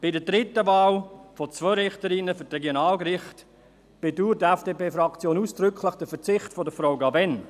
Bei der dritten Wahl von zwei Richterinnen für die Regionalgerichte bedauert die FDP-Fraktion ausdrücklich den Verzicht von Frau Cavegn.